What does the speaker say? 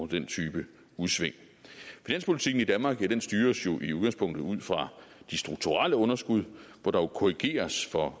den type udsving finanspolitikken i danmark styres jo i udgangspunktet ud fra de strukturelle underskud hvor der korrigeres for